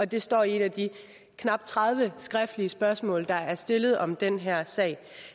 det står i et af de knap tredive skriftlige spørgsmål der er stillet om den her sag